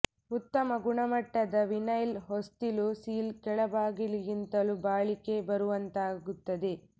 ಉತ್ತಮ ಗುಣಮಟ್ಟದ ವಿನೈಲ್ ಹೊಸ್ತಿಲು ಸೀಲ್ ಕೆಳ ಬಾಗಿಗಿಂತಲೂ ಬಾಳಿಕೆ ಬರುವಂತಾಗುತ್ತದೆ